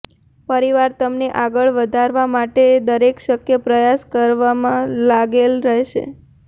પરિવાર તમને આગળ વધારવ માટે દરેક શક્ય પ્રયાસ કરવામાં લાગેલ રહેશે